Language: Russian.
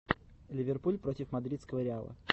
ливерпуль против мадридского реала